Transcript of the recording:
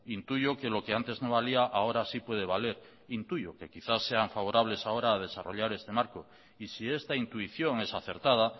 intuyo que lo que antes no valía ahora sí puede valer intuyo que quizás sean favorables ahora a desarrollar este marco y si esta intuición es acertada